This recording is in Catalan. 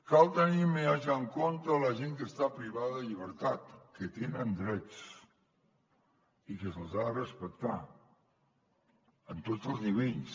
cal tenir més en compte la gent que està privada de llibertat que tenen drets i que se’ls ha de respectar en tots els nivells